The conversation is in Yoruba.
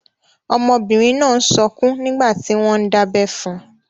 Ọmọbìnrin náà n sọkún nígbàtí wọ́n n dábẹ́ fun.